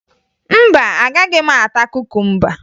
Mba, agaghị m ata kukumba